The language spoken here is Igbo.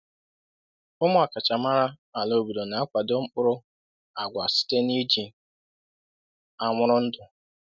“Ụmụ ọkachamara ala obodo na-akwado mkpụrụ agwa site n’iji anwụrụ ndụ.”